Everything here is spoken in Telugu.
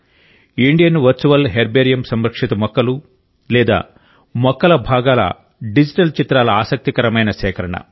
ఇండియన్ వర్చువల్ హెర్బేరియం సంరక్షిత మొక్కలు లేదా మొక్కల భాగాల డిజిటల్ చిత్రాల ఆసక్తికరమైన సేకరణ